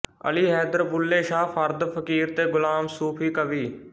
ਅਲੀ ਹੈਦਰ ਬੁੱਲ੍ਹੇ ਸ਼ਾਹ ਫਰਦ ਫਕੀਰ ਤੇ ਗੁਲਾਮ ਸੂਫੀ ਕਵੀ